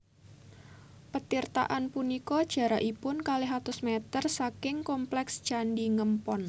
Petirtaan punika jarakipun kalih atus mèter saking komplèks Candhi Ngempon